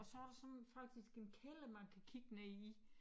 Og så der sådan faktisk en kælder man kan kigge ned i